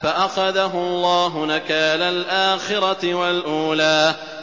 فَأَخَذَهُ اللَّهُ نَكَالَ الْآخِرَةِ وَالْأُولَىٰ